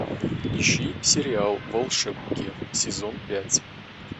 ищи сериал волшебники сезон пять